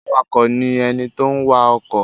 Awakọ̀ ni ẹni tó ń wa ọkọ̀.